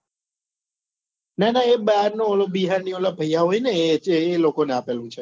ના ના એ બાર નો ઓલો બિહારી ઓલા ભૈયા હોય ને એએ લોકો ને આપેલું છે